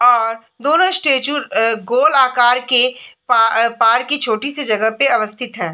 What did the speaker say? और दोनों स्टैचू अ गोल के आकर के प पार्क के छोटी सी जगह पे अवस्थित है।